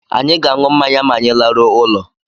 Anyị ga-aṅụ mmanya ma anyị laruo ulo